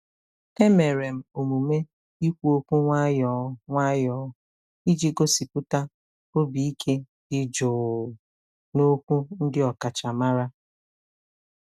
E mere m omume ikwu okwu nwayọọ nwayọọ iji gosipụta obi ike dị jụụ n'okwu ndị ọkachamara.